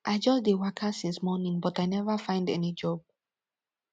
i just dey waka since morning but i never find any job